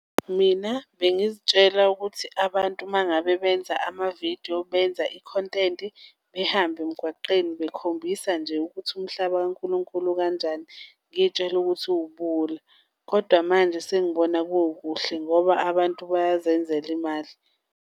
Mina bengizitshela ukuthi abantu uma ngabe benza amavidiyo benza ikhontenti behambe emgwaqeni bekhombisa nje ukuthi umhlaba kankulunkulu ukanjani, ngiy'tshela ukuthi kuwubuwula kodwa manje sengibona kukuhle ngoba abantu bayazenzela imali.